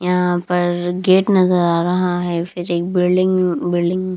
यहां पर गेट नजर आ रहा है फिर एक बिल्डिंग बिल्डिंग।